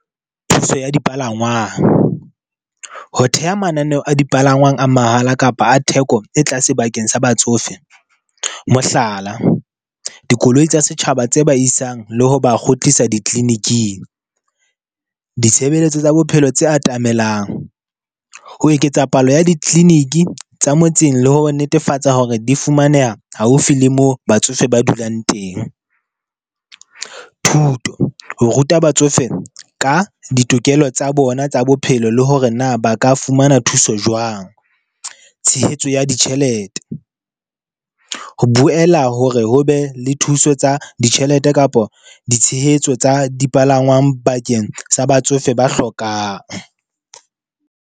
Thuso ya dipalangwang. Ho theha mananeho a dipalangwang a mahala kapa a theko e tlase bakeng sa batsofe, mohlala, dikoloi tsa setjhaba tse ba isang le ho ba kgutlisa di-clinic-ing. Ditshebeletso tsa bophelo tse atamelang. Ho eketsa palo ya di-clinic-i tsa motseng, le ho netefatsa hore di fumaneha haufi le moo batsofe ba dulang teng. Thuto, ho ruta batsofe ka ditokelo tsa bona tsa bophelo, le hore na ba ka fumana thuso jwang. Tshehetso ya ditjhelete, ho boela hore ho be le thuso tsa ditjhelete kapa ditshehetso tsa dipalangwang bakeng tsa batsofe ba hlokang.